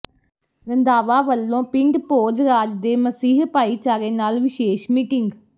ਰੰਧਾਵਾ ਵਲੋਂ ਪਿੰਡ ਭੋਜਰਾਜ ਦੇ ਮਸੀਹ ਭਾਈਚਾਰੇ ਨਾਲ ਵਿਸ਼ੇਸ਼ ਮੀਟਿੰਗ